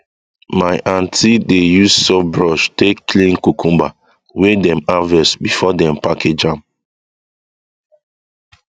my aunty dey use soft brush take clean cucumber wey dem harvest before dem package am